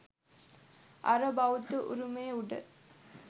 අර බෞද්ධ උරුමය උඩ